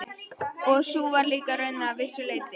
Og sú var líka raunin að vissu leyti.